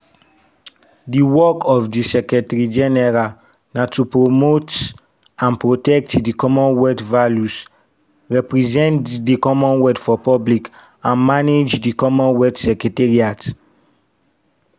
di work of di secretary-general na to promote and protect di commonwealth values represent di commonwealth for public and manage di commonwealth secretariat.